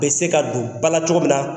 U bɛ se ka don bala cogo min na.